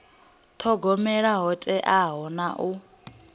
thogomela ho teaho na u